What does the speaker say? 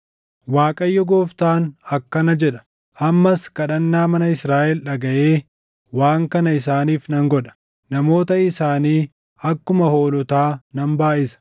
“ Waaqayyo Gooftaan akkana jedha: Ammas kadhannaa mana Israaʼel dhagaʼee waan kana isaaniif nan godha: Namoota isaanii akkuma hoolotaa nan baayʼisa;